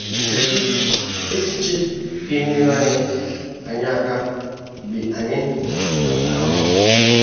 Kedụ echiche ga - enyere anyị anyị aka mgbe anyị na - ata ahụhụ?